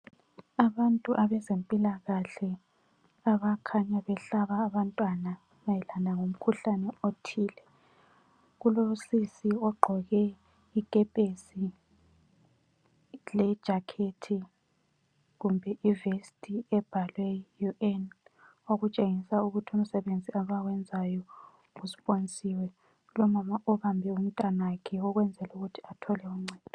Abantu abezempilakahle, abakhanya behlaba abantwana mayelana ngomkhuhlane othile. Kulosisi ogqoke ikepesi lejakhethi kumbe ivesti ebhalwe UN, okutshengisa ukuthi umsebenzi abawenzayo usponsiwe, lomama obambe umntanakhe ukwenzel' ukuthi athole uncedo.